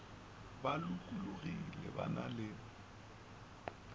ba lokologile ba na le